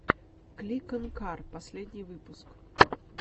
кликонкар последний выпуск